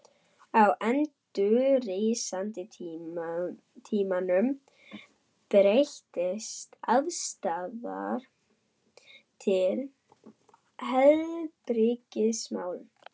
Á endurreisnartímanum breyttist afstaðan til heilbrigðismála.